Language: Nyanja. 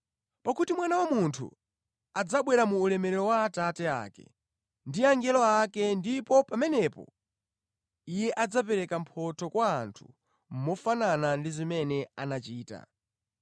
Pakuti Mwana wa Munthu adzabwera mu ulemerero wa Atate ake ndi angelo ake ndipo pamenepo Iye adzapereka mphotho kwa munthu mofanana ndi zimene anachita.